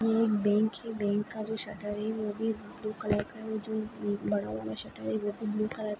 येह एक बैंक है बैंक का जो शटर है वो भी ब्लू कलर का है जो बड़ा वाला शटर है वो भी ब्लू कलर का--